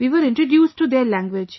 We were introduced to their language